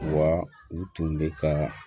Wa u tun bɛ ka